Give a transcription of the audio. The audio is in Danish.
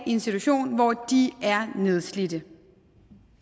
i en situation hvor de er nedslidte